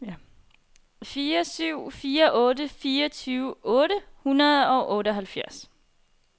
fire syv fire otte fireogtyve otte hundrede og otteoghalvfjerds